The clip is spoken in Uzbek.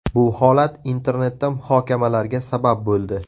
Bu holat internetda muhokamalarga sabab bo‘ldi.